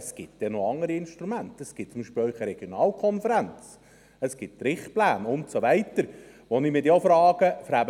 Es gibt noch andere Instrumente, beispielsweise die Regionalkonferenz, Richtpläne und so weiter, wo ich mich dann auch frage: